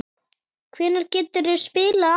Hvenær geturðu spilað aftur?